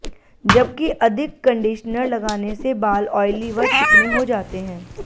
जबकि अधिक कंडिशनर लगाने से बाल ऑयली व चिकने हो जाते हैं